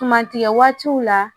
Tuma tigɛ waatiw la